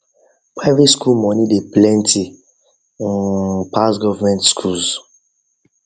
private school money dey plenty um pass government schools